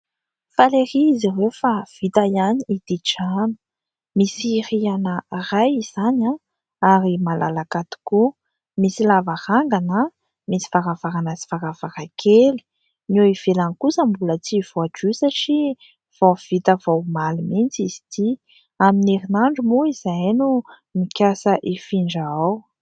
Faly ery izy ireo fa vita ihany ity trano, misy riana iray izany ary malalaka tokoa, misy lavarangana, misy varavarana sy varavarakely. Ny eo ivelany kosa mbola tsy voadio satria vao vita vao omaly mihitsy izy ity. Amin'ny herinandro moa izahay no mikasa hifindra ao.